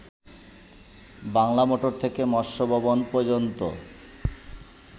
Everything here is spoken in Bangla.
বাংলা মোটর থেকে মৎস্য ভবন পর্যন্ত